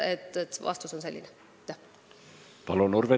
Palun, Urve Tiidus!